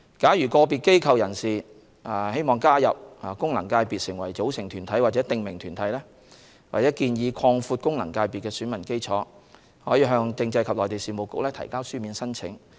假如個別機構/人士欲加入功能界別成為組成團體或訂名團體，或建議擴闊功能界別的選民基礎，可向政制及內地事務局提交書面申請。